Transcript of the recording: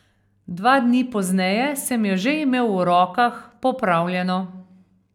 Dva dni pozneje sem jo že imel v rokah, popravljeno.